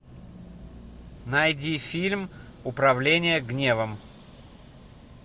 найди фильм управление гневом